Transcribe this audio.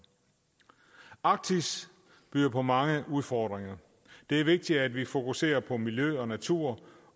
arktis byder på mange udfordringer det er vigtigt at vi fokuserer på miljø og natur